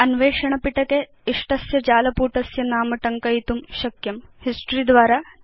भवान् अन्वेषण पिटके इष्टस्य जालपुटस्य नाम टङ्कयितुं शक्नोति यत् भवान् गवेषयितुम् इच्छति